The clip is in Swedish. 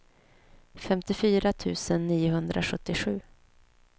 femtiofyra tusen niohundrasjuttiosju